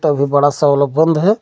अभी बड़ा से वाला बंद है।